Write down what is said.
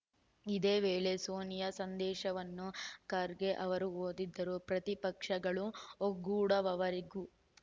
ಇದೇ ವೇಳೆ ಸೋನಿಯಾ ಸಂದೇಶವನ್ನು ಖರ್ಗೆ ಅವರು ಓದಿದರು ಪ್ರತಿಪಕ್ಷಗಳು ಒಗ್ಗೂಡುವವರೆಗೂ